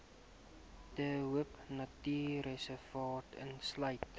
de hoopnatuurreservaat insluit